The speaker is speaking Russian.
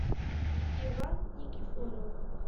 иван никифоров